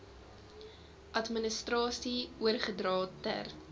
administrasie oorgedra ter